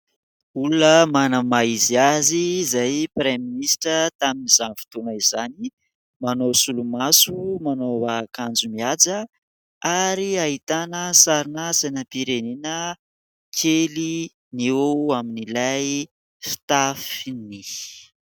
Olona manana ny maha izy azy izay praiministra tamin' izany fotoana izany. Manao solomaso, manao akanjo mihaja ary ahitana sarina sainam-pirenena kely eo amin' ilay fitafiny.